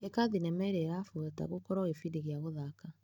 ĩka thinema ĩrĩa ĩrabuata gũkorwo gĩbindi gĩa gũthaka .